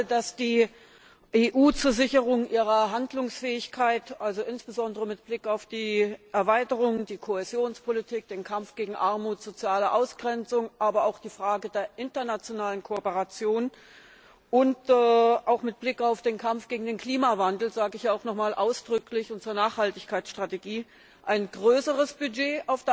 Wir wissen alle, dass die EU zur Sicherung ihrer Handlungsfähigkeit, also insbesondere mit Blick auf die Erweiterung, die Kohäsionspolitik, den Kampf gegen Armut, soziale Ausgrenzung, aber auch die Frage der internationalen Kooperation und auch mit Blick auf den Kampf gegen den Klimawandel, das sage ich auch noch mal ausdrücklich, und zur Nachhaltigkeitsstrategie, auf der einen Seite ein größeres Budget